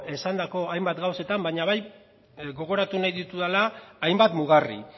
esandako hainbat gauzetan baina bai gogoratu nahi ditudala hainbat mugarri